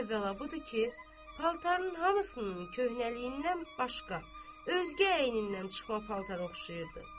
Əvvəla budur ki, paltarının hamısının köhnəliyindən başqa özgə əynindən çıxma paltara oxşayırdı.